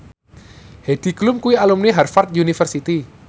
Heidi Klum kuwi alumni Harvard university